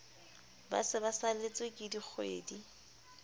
ba se ba saletsweke dikgwedi